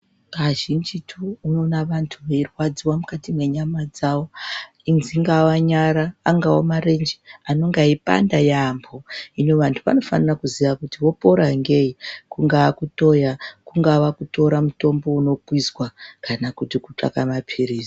Kazhinjitu unoona vantu veirwadziwa mukati menyama dzavo dzingava nyara, angava marenje anonga eipanda yambo hino vantu vanofanira kuziya kuti vopora ngei kungaa kutoya , kungava kutora mutombo unokwizwa kana kutsaka maphirizi.